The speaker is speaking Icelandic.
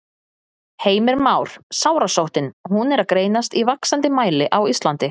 Heimir Már: Sárasóttin, hún er að greinast í vaxandi mæli á Íslandi?